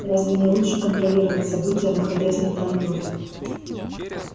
разве не лучше контролировать события находясь на транторе